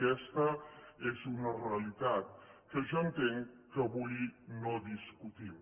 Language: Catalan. aquesta és una realitat que jo entenc que avui no discutim